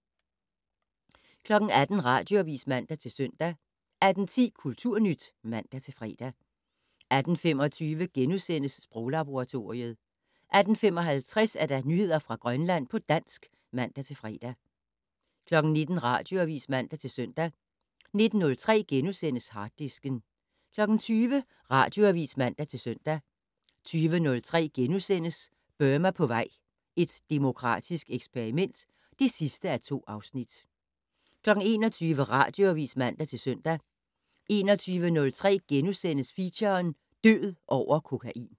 18:00: Radioavis (man-søn) 18:10: Kulturnyt (man-fre) 18:25: Sproglaboratoriet * 18:55: Nyheder fra Grønland på dansk (man-fre) 19:00: Radioavis (man-søn) 19:03: Harddisken * 20:00: Radioavis (man-søn) 20:03: Burma på vej - et demokratisk eksperiment (2:2)* 21:00: Radioavis (man-søn) 21:03: Feature: Død over kokain *